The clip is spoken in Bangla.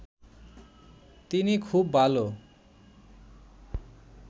তিনি খুব ভালো